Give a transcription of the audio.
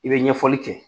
I bɛ ɲɛfɔli kɛ